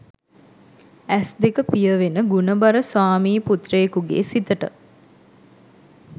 ඇස් දෙක පියවෙන ගුණබර ස්වාමි පුත්‍රයෙකුගේ සිතට